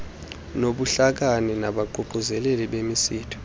nobuhlakani nabaququzeleli bemisitho